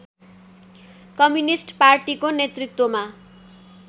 communist पार्टीको नेतृत्वमा